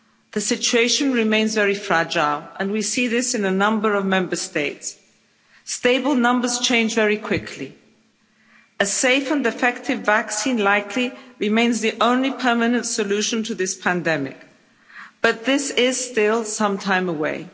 The situation remains very fragile, and we see this in a number of Member States. Stable numbers change very quickly. A safe and effective vaccine likely remains the only permanent solution to this pandemic, but this is still some time away.